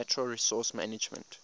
natural resource management